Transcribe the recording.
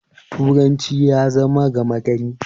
turanci ya zama gamagari